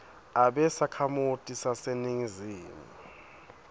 abe sakhamuti saseningizimu